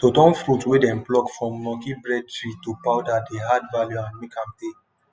to turn fruit wey dem pluck from monkey bread tree to powder dey add value and make am tey